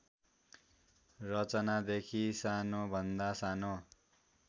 रचनादेखि सानोभन्दा सानो